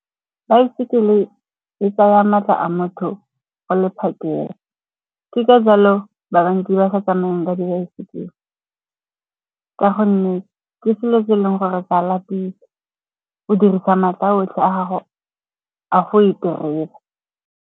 Baesekele e tsaya maatla a motho go le phakela. Ke ka jalo ba bantsi ba sa tsamayeng ka dibaesekele ka gonne ke selo se e leng gore se a lapisa. O dirisa maatla a otlhe a gago a go e tereba.